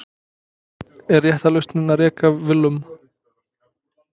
Er rétta lausnin að reka Willum?